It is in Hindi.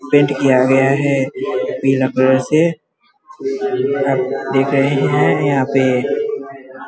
पेंट किया गया है पीला कलर से आप देख रहे है यहाँ पे --